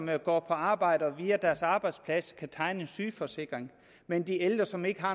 der går på arbejde via deres arbejdsplads kan tegne en sygeforsikring mens de ældre som ikke har